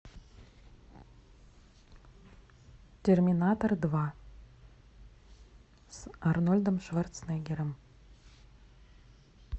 терминатор два с арнольдом шварценеггером